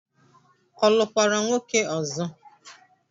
Ọ lụkwara nwoke ọzọ?